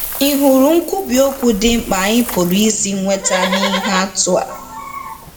Ị̀ hụrụ nkwubi okwu dị mkpa anyị pụrụ isi nweta n'ihe atụ a?